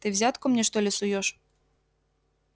ты взятку мне что ли суёшь